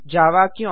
जावा क्यों